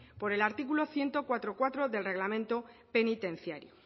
por el artículo ciento cuatro punto cuatro del reglamento penitenciario